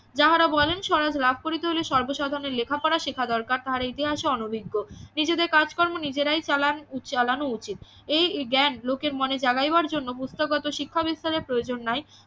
যাহারা বলেন স্বরাজ লাভ করিতে হলে সর্ব সাধারণের লেখা পড়া শেখা দরকার তাহারা ইতিহাসে অনভিজ্ঞ নিজেদের কাজকর্ম নিজেরাই চালান চালানো উচিত এই জ্ঞান লোকের মনে জাগাইবার জন্য পুস্তকগত শিক্ষা বিস্তারের প্রয়োজন নাই